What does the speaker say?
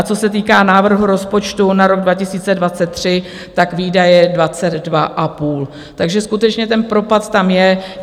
A co se týká návrhu rozpočtu na rok 2023 - výdaje 22,5, takže skutečně ten propad tam je.